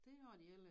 Det har de heller æ